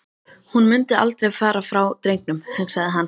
Hún mundi aldrei fara frá drengnum, hugsaði hann.